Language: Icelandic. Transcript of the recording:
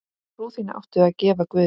Trú þína áttu að gefa guði.